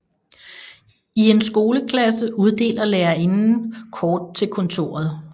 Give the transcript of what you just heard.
I en skoleklasse uddeler lærerinden kort til kontoret